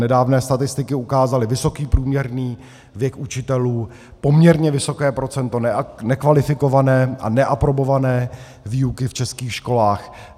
Nedávné statistiky ukázaly vysoký průměrný věk učitelů, poměrně vysoké procento nekvalifikované a neaprobované výuky v českých školách.